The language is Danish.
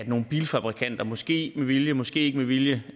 nogle bilfabrikanter måske med vilje måske ikke med vilje